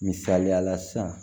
Misaliyala sisan